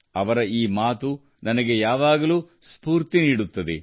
ಅವರ ಈ ಮಾತು ನನಗೆ ಯಾವಾಗಲೂ ಸ್ಫೂರ್ತಿ ನೀಡುತ್ತದೆ